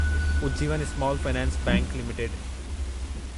Ujjivan small finance bank limited